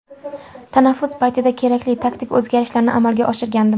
Tanaffus paytida kerakli taktik o‘zgarishlarni amalga oshirgandim.